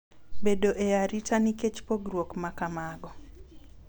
Bedo e arita nikech pogruok ma kamago